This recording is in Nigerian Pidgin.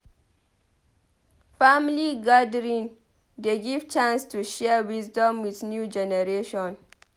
Family gathering dey give chance to share wisdom with new generation.